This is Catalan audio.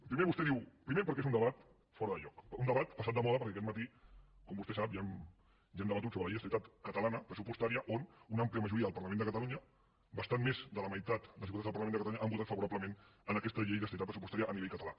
primer perquè és un debat fora de lloc un debat passat de moda perquè aquest matí com vostè sap ja hem debatut sobre la llei d’estabilitat catalana pressupostària on una àmplia majoria del parlament de catalunya bastant més de la meitat dels diputats del parlament de catalunya han votat favorablement aquesta llei d’estabilitat pressupostària a nivell català